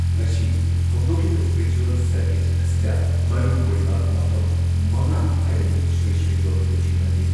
ꯉꯁꯤ ꯍꯧꯗꯣꯛꯂꯤꯕ spiritual circuit ꯑꯁꯤꯗ ꯃꯔꯨꯑꯣꯏꯕ ꯃꯐꯝ ꯃꯉꯥ ꯍꯥꯏꯕꯗꯤ ꯁ꯭ꯔꯤ ꯁ꯭ꯔꯤ ꯒꯣꯕꯤꯟꯗꯖꯤ ꯃꯟꯗꯤꯔ